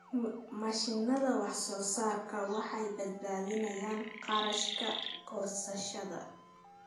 Mashiinnada wax-soo-saarka waxay badbaadiyaan kharashka goosashada.